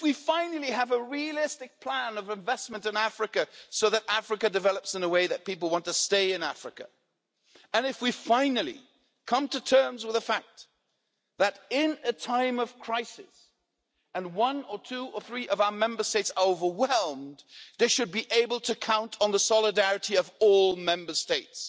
if we finally have a realistic plan of investment in Africa so that Africa develops in a way that makes people want to stay in Africa and if we finally come to terms with the fact that in a time of crisis, and one or two or three of our Member States are overwhelmed, they should be able to count on the solidarity of all Member States.